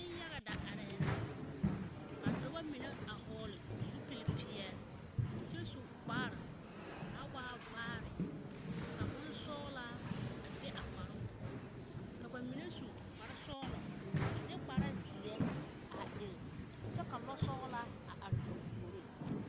Neŋ-yaga da arɛɛ la, ka dɔbɔ mine a hɔɔgle zupil-peɛl kyɛ su kparr, kaa waa vaare ka bonsɔgelaa a be a kparoŋ poɔ. Ka ba mine su kparesɔgelɔ a de kparezeɛ a eŋ kyɛ ka lɔsɔgelaa a are ba puoriŋ.